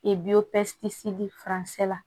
la